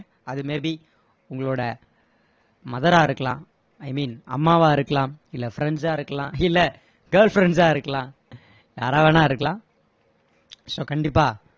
அது may be உங்களோட mother ரா இருக்கலாம் i mean அம்மாவா இருக்கலாம் இல்ல friends ஆ இருக்கலாம் இல்ல girl friends சா இருக்கலாம் யாரா வேணா இருக்கலாம் so கண்டிப்பா